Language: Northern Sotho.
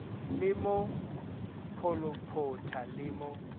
le mo pholophotha le mo